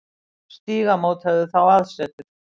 Stígamót höfðu þá aðsetur.